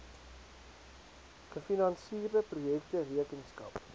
gefinansierde projekte rekenskap